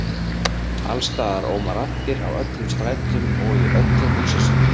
Alls staðar óma raddir, á öllum strætum og í öllum húsasundum.